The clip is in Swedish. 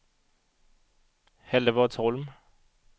Hällevadsholm